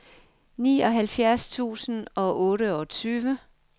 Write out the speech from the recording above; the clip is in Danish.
nioghalvfjerds tusind og otteogtyve